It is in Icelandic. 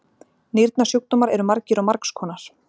Nýrnasjúkdómar eru margir og margs konar.